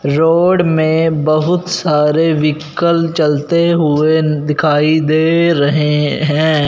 Road में बहुत सारे व्हीकल चलते हुए दिखाई दे रहे हैं।